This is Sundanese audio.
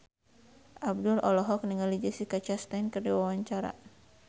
Abdel olohok ningali Jessica Chastain keur diwawancara